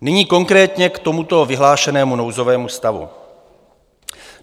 Nyní konkrétně k tomuto vyhlášenému nouzovému stavu.